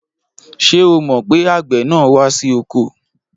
Ṣé o mọ̀ pé àgbẹ̀ náà wá sí oko?